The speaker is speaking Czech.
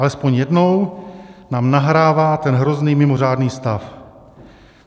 Alespoň jednou nám nahrává ten hrozný mimořádný stav.